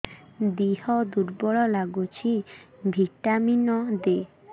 ଦିହ ଦୁର୍ବଳ ଲାଗୁଛି ଭିଟାମିନ ଦେ